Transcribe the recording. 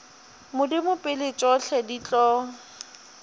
modimo pele tšohle di tlo